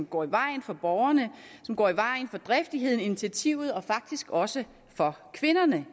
går i vejen for borgerne og som går i vejen for driftigheden og initiativet og faktisk også for kvinderne